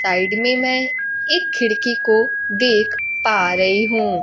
Side में मैं एक खिड़की को देख पा रही हूं।